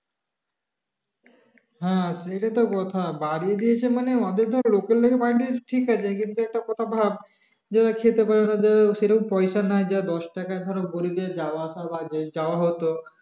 হ্যাঁ সেই টা তো কথা বারিয়ে দিয়েছে মানে ওদের ধর local বারিয়ে দিয়েছে ঠিক আছে কিন্তু একটা কথা ভাব যারা খেতে পারে না যারা সে রকম পয়সা নাই যার দশ টাকা ধরো গরিবের যাওয়া আসা বা যাওয়া হতো